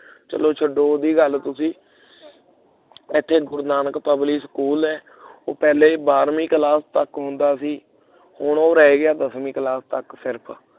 ਚਲੋ ਛੱਡੋ ਉਹਦੀ ਗੱਲ ਤੁਸੀਂ ਇਥੇ ਗੁਰੂ ਨਾਨਕ public school ਹੈ ਉਹ ਪਹਿਲੇ ਬਾਰਵੀਂ class ਤੱਕ ਹੁੰਦਾ ਸੀ ਹੁਣ ਉਹ ਰਹਿ ਗਿਆ ਦਸਵੀਂ class ਤੱਕ ਸਿਰਫ